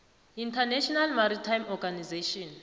international maritime organization